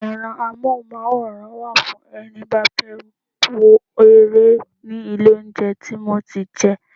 Ẹ̀rọ amohunmaworan wa fún ẹni bá fẹ́ wo ere ní ilé oúnjẹ tí mo ti jẹ.